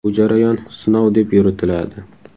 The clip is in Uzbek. Bu jarayon sinov deb yuritiladi.